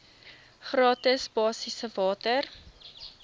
gratis basiese water